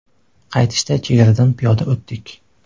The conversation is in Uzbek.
Qaytishda chegaradan piyoda o‘tdik.